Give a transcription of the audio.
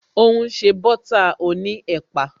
O n se butter oní ẹ̀pà